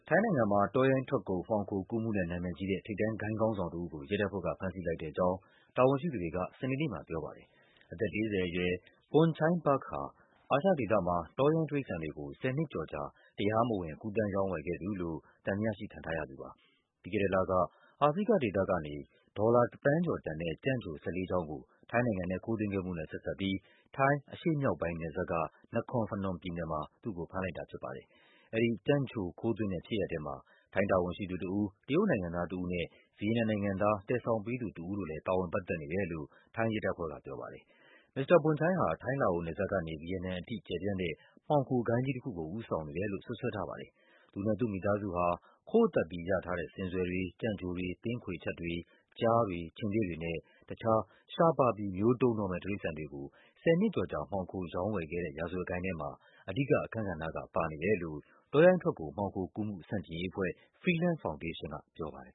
ိုင်းနိုင်ငံမှာ တောရိုင်းထွက်ကုန် မှောင်ခိုကူးမှုနဲ့နာမည်ကြီးတဲ့ ထိပ်တန်း ဂိုဏ်းခေါင်းဆောင်တဦးကို ရဲတပ်ဖွဲ့က ဖမ်းဆီးလိုက်တဲ့ အကြောင်း တာဝန်ရှိသူတွေက စနေနေ့မှာပြောပါတယ်။ အသက် ၄၀ အရွယ် Boonchai Bach ဟာ အာရှဒေသမှာ တောရိုင်းတိရိစ္ဆာန်တွေကို ဆယ်နှစ်ကျော်ကြာ တရားမဝင် ကူးသန်း ရောင်းဝယ်ခဲ့တယ်လို့ သံသယရှိခံထားရသူပါ။ ပြီးခဲ့တဲ့လက အာဖရိကဒေသကနေ ဒေါ်လာ ၁ သန်းကျော်တန်တဲ့ ကြံ့ချို ၁၄ ချောင်းကို ထိုင်းနိုင်ငံထဲ ခိုးသွင်းခဲ့မှုနဲ့ ဆက်စပ်ပြီး ထိုင်း အရှေ့မြောက်ပိုင်းနယ်စပ်က Nakhon Phanom ပြည်နယ်မှာ သူ့ကို ဖမ်းလိုက်တာဖြစ်ပါတယ်။ အဲဒီကြံ့ချိုခိုးသွင်းတဲ့ဖြစ်ရပ်ထဲမှာ ထိုင်းတာဝန်ရှိသူတဦး၊ တရုတ်နိုင်ငံသားတဦးနဲ့ ဗီယက်နမ်နိုင်ငံသား သယ်ဆောင်ပေးသူတဦး တို့လည်း ပါဝင်ပတ်သက်နေတယ်လို့ ထိုင်းရဲတပ်ဖွဲ့ကပြောပါတယ်။ မစ္စတာ Boonchai ဟာ ထိုင်း-လာအိုနယ်စပ်ကနေ ဗီယက်နမ်အထိ ကျယ်ပြန့်တဲ့ မှောင်ခိုဂိုဏ်းကြီးတခုကို ဦးဆောင်နေတယ်လို့ စွပ်စွဲထားပါတယ်။ သူနဲ့သူ့မိသားစုဟာ ခိုးသတ်ပြီးရထားတဲ့ ဆင်စွယ်တွေ၊ ကြံ့ချိုတွေ၊ သင်းခွေချပ်တွေ၊ ကျားတွေ၊ ခြင်္သေ့တွေနဲ့ တခြား ရှားပါးပြီး မျိုးတုန်းတော့မယ့် တိရိစ္ဆာန်တွေကို ဆယ်နှစ်ကျော်ကြာ မှောင်ခိုရောင်းဝယ်ခဲ့တဲ့ ရာဇဝတ်ဂိုဏ်းထဲမှာ အဓိက အခန်းကဏ္ဍကပါနေတယ်လို့ တောရိုင်းထွက်ကုန် မှောင်ခိုကူးမှု ဆန့်ကျင်ရေးအဖွဲ့ Freeland Foundation ကပြောပါတယ်